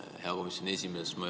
Hea komisjoni esimees!